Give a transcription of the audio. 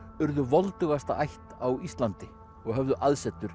urðu voldugasta ætt á Íslandi og höfðu aðsetur